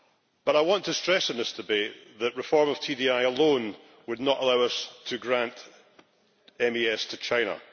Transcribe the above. But I want to stress in this debate that reform of TDI alone would not allow us to grant MES to China.